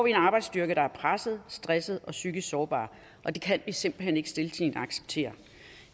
en arbejdsstyrke der er presset stresset og psykisk sårbar og det kan vi simpelt hen ikke stiltiende acceptere